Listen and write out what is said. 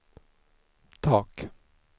tak